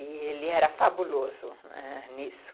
E ele era fabuloso nisso.